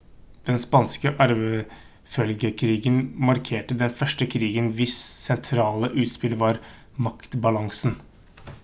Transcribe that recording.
den spanske arvefølgekrigen markerte den første krigen hvis sentrale utspill var maktbalansen